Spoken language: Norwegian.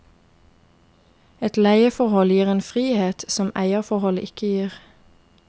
Et leieforhold gir en frihet som eierforholdet ikke gir.